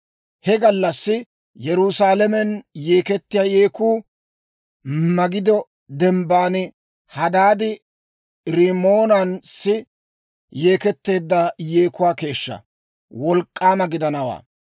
He gallassi Yerusaalamen yeekettiyaa yeekku Magido Dembban Hadaadi-Rimmoonassi yeeketteedda yeekuwaa keeshshaa wolk'k'aama gidanawaa.